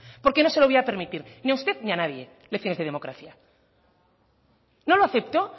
porque no se lo voy a permitir ni a usted ni a nadie lecciones de democracia no lo acepto